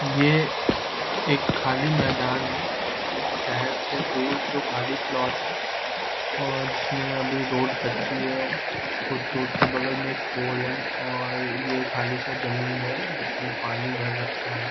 ये खाली मैदान है मतलब शहर से दूर खाली प्लॉट है और जिसमे अभी रोड कच्ची है कुछ रोड के बगल में एक पोल है और यह खाली साथ जमीन है जिसमे पानी भर रखा है |